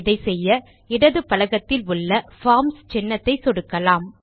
இதை செய்ய இடது பலகத்தில் உள்ள பார்ம்ஸ் சின்னத்தை சொடுக்கலாம்